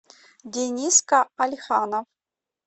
дениска алиханов